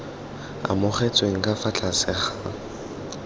amogetsweng ka fa tlase ga